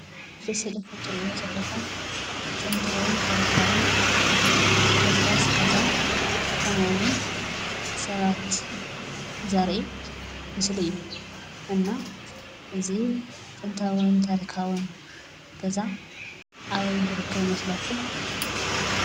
ኣብቲ ስእልታት ትሪእዎም ዘለኹም ጥንታውን ታሪካውን ፍርስራስ ገዛ ከምኡውን ሰባት ዘርኢ ምስሊ እዩ። እና እዙይ ጥንታውን ታሪካውን ገዛ ኣበይ ዝርከብ ይመስለኩም?